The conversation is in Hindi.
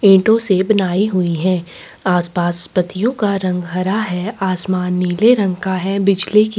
पेटो से बनाई हुई हैं आसपास पत्तियों का रंग हरा हैं आसमान नीले रंग का हैं बिजली की--